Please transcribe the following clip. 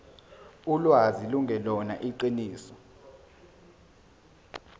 ulwazi lungelona iqiniso